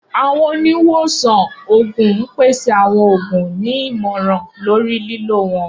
Awọn oniwosan oogun n pese awọn oogun, ni imọran lori lilo wọn.